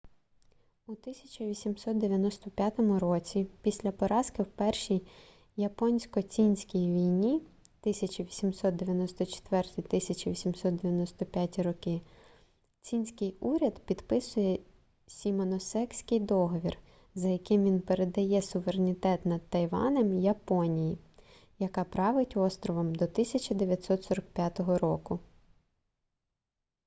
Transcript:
у 1895 році після поразки в першій японсько-цінській війні 1894-1895 цінський уряд підписує сімоносекський договір за яким він передає суверенітет над тайванем японії яка править островом до 1945 року